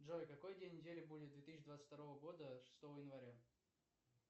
джой какой день недели будет две тысячи двадцать второго года шестого января